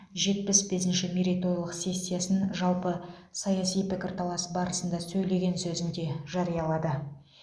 жетпіс бесінші мерейтойлық сессиясының жалпы саяси пікірталас барасында сөйлеген сөзінде жариялады